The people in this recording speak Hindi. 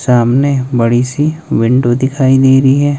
सामने बड़ी सी विंडो दिखाई दे रही है।